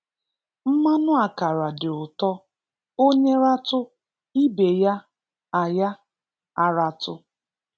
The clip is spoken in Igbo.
Mmanụ ákàrà dị ụtọ; Onye ratụ́, ibe ya a ya a ratụ́